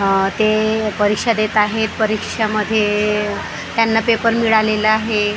आह ते परीक्षा देत आहेत परीक्षामध्ये त्यांना पेपर मिळालेला आहे .